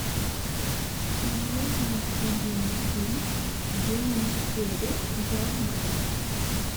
мне необходим фильм с джимом керри в главной роли